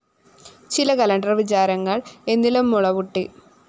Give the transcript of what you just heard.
ചില കാലണ്ടർ വിചാരങ്ങള്‍ എന്നിലും മുള പൊട്ടി